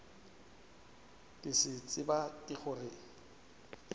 ke se tseba ke gore